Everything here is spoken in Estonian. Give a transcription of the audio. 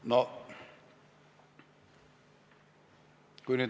On see nii?